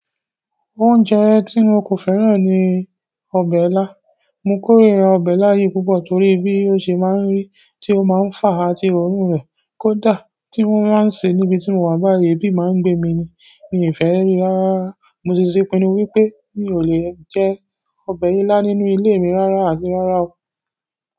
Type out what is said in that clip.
Oúnjẹ tí mo kò fẹ́ràn ni ọbẹ̀ ilá. Mo kórira ọbẹ̀ ilá yìí púpọ̀ torí bí o ṣe máa ń rí, tí o máa ń fa àti òórùn rẹ̀. Kódà tí wọ́n baa ń ṣe níbi tí mo wà báyìí, èébì máa ń gbé mi ni mi ò fẹ́ rí i rárá. Mo ti ṣe ìpinnu wípé mi ò lè jẹ ọbẹ̀ ilá nínú ilé mi rárá àti rárá o.